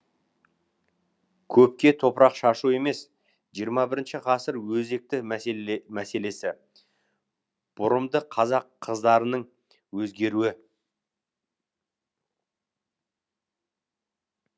көпке топырақ шашу емес жиырма бірінші ғасыр өзекті мәселесі бұрымды қазақ қыздарының өзгеруі